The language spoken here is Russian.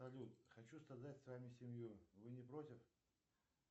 салют хочу создать с вами семью вы не против